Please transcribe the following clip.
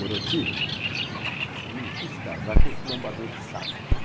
Doroti, você não quis casar com esse lombador de saco, né?